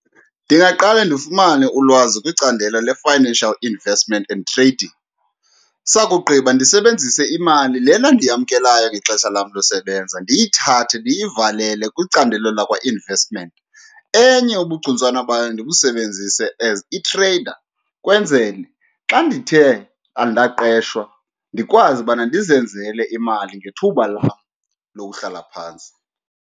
Ndingaqale ndifumane ulwazi kwicandelo le-financial investment and trading, sakugqiba ndisebenzise imali lena ndiyamkelayo ngexesha lam losebenza ndiyithathe ndiyivalele kwicandelo lakwa-investment. Enye ubugcuntswana bayo ndibusebenzise as i-trader, kwenzele xa ndithe andaqeshwa ndikwazi ubana ndizenzele imali ngethuba lam lokuhlala phantsi.